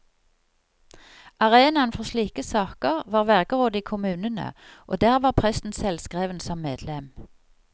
Arenaen for slike saker var vergerådet i kommunene, og der var presten selvskreven som medlem.